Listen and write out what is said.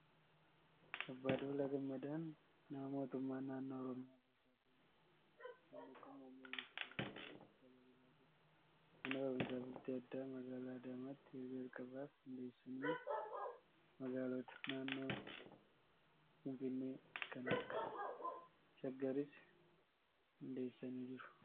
Abbaa Duulaa Gammadaan nama mootummaa naannoo Oromiyaa bulchaa turanidha. Namni kun muummee ministeeraa ta'uun tajaajilaa ture. Mana barumsaa Bultii Addaa magaalaa Adaamaatti yeroo jalqabaaf hundeessani. Magaalota naannoo Finfinnee kan akka Shaggariis hundeessanii jiru.